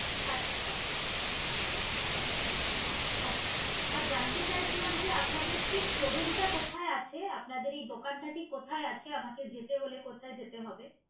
আচ্ছা যদি আপনি কোনো অসুবিধা হয় এখানেই